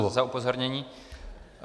Děkuji za upozornění.